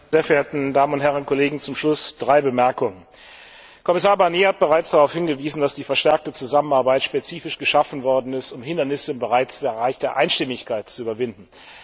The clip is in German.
Herr Präsident, sehr verehrte Damen und Herren Kollegen! Zum Schluss drei Bemerkungen Kommissar Barnier hat bereits darauf hingewiesen, dass die verstärkte Zusammenarbeit spezifisch geschaffen worden ist, um Hindernisse im Bereich der Einstimmigkeit zu überwinden.